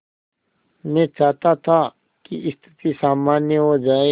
मैं चाहता था कि स्थिति सामान्य हो जाए